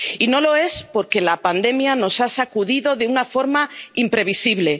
Y no lo es, porque la pandemia nos ha sacudido de una forma imprevisible.